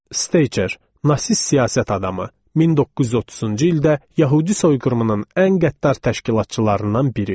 Steyçer, nasist siyasət adamı, 1930-cu ildə yəhudi soyqırımının ən qəddar təşkilatçılarından biri.